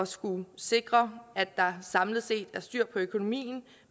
skulle sikre at der samlet set er styr på økonomien at